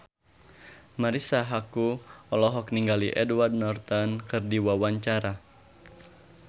Marisa Haque olohok ningali Edward Norton keur diwawancara